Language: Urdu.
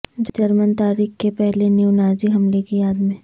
جرمن تاریخ کے پہلے نیو نازی حملے کی یاد میں